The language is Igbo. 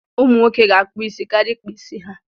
Ụmụ nwoke ga-akpụ isi karịa ịkpa isi ha.